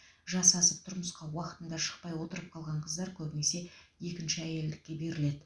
жасы асып тұрмысқа уақытында шықпай отырып қалған қыздар көбіне екінші әйелдікке беріледі